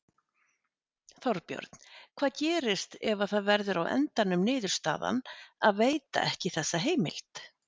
Þorbjörn: Hvað gerist ef að það verður á endanum niðurstaðan að veita ekki þessa heimild?